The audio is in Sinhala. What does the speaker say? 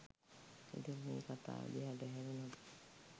ඉතින් මේ කතාව දිහාට හැරුනොත්